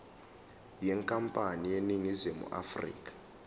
yenkampani eseningizimu afrika